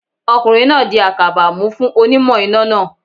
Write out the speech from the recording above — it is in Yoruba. Ọkùnrin náà di àkàbà mú fún onímọ̀ iná náà